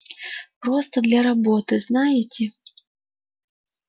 просто для работы знаете